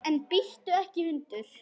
En bíttu ekki hundur!